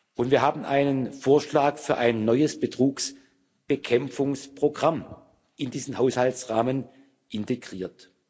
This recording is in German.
Und wir haben einen Vorschlag für ein neues Betrugsbekämpfungsprogramm in diesen Haushaltsrahmen integriert.